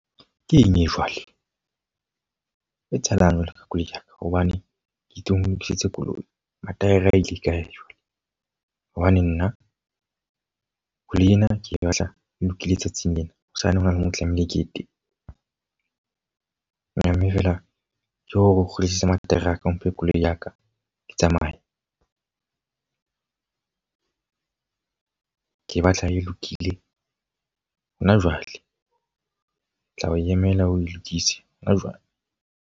Keng e jwale? E etsahalang jwale ka koloi ya ka. Hobane ke itse o nlokisetse koloi. Mataere a ile kae jwale? Hobane nna koloi ena ke e batla e lokile tsatsing lena. Hosane hona le moo tlamehile ke ye teng. Mme feela ke ho re o kgutlisetse mataere a ka o mphe koloi ya ka ke tsamaye. Ke e batla e lokile ho na jwale. Ke tla o emela oe lokise ho na jwale.